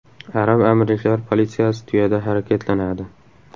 Arab amirliklari politsiyasi tuyada harakatlanadi .